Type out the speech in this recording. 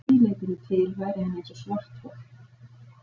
Að því leytinu til væri hann eins og svarthol.